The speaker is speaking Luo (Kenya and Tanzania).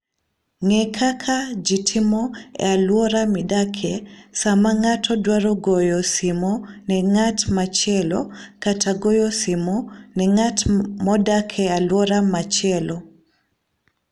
Ng'e kaka ji timo e alwora midakie sama ng'ato dwaro goyo simo ne ng'at machielo kata goyo simo ne ng'at modak e alwora machielo.